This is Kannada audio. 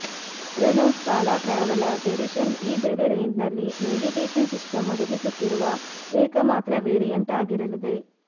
ರೆನೊ ಸ್ಕಾಲಾ ಟ್ರಾವೆಲಾಗ್ ಎಡಿಷನ್ ಈ ಬೆಲೆ ರೇಂಜ್ನಲ್ಲಿ ನೇವಿಗೇಷನ್ ಸಿಸ್ಟಂ ಒದಗಿಸುತ್ತಿರುವ ಏಕಮಾತ್ರ ವೆರಿಯಂಟ್ ಆಗಿರಲಿದೆ